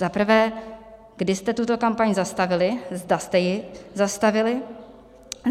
Za prvé, kdy jste tuto kampaň zastavili, zda jste ji zastavili?